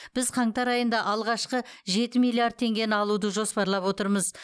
біз қаңтар айында алғашқы жеті миллиард теңгені алуды жоспарлап отырмыз